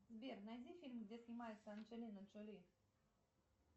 сбер найди фильм где снимается анджелина джоли